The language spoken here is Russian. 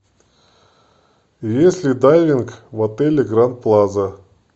есть ли дайвинг в отеле гранд плаза